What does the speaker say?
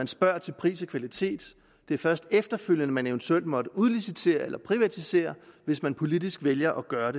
spørges til pris og kvalitet det er først efterfølgende man eventuelt måtte udlicitere eller privatisere hvis man politisk vælger at gøre